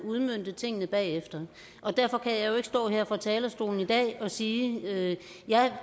udmønte tingene bagefter og derfor kan jeg jo ikke stå her fra talerstolen i dag og sige ja